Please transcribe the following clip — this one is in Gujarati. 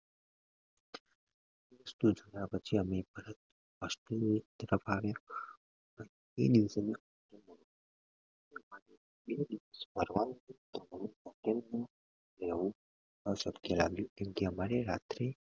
અશક્ય લાગ્યું કેમ કે અમારે રાત્રે